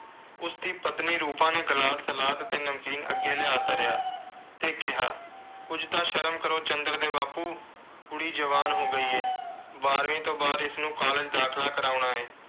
ਉਸਦੀ ਪਤਨੀ ਰੂਪਾ ਨੇ glass, salad ਤੇ ਨਮਕੀਨ ਅੱਗੇ ਲਿਆ ਧਰਿਆ। ਤੇ ਕਿਹਾ ਕੁਝ ਤਾਂ ਸ਼ਰਮ ਕਰੋ। ਚੰਦਰ ਦੇ ਬਾਪੂ, ਕੁੜੀ ਜਵਾਨ ਹੋ ਗਈ ਏ। ਬਾਰ੍ਹਵੀਂ ਤੋਂ ਬਾਅਦ ਇਸਨੂੰ college ਦਾਖਲਾ ਕਰਾਉਣਾ ਏ।